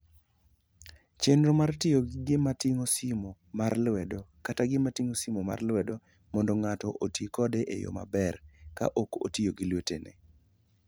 Chenro mar tiyo gi gima ting'o simo mar lwedo kata gima ting'o simo mar lwedo mondo ng'ato oti kode e yo maber ka ok otiyo gi lwetene.